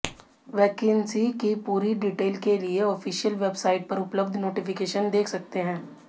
vacancy की पूरी detail के लिए ऑफिशियल वेबसाइट पर उपलब्ध नोटिफिकेशन देख सकते हैं